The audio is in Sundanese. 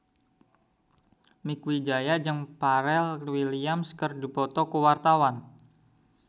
Mieke Wijaya jeung Pharrell Williams keur dipoto ku wartawan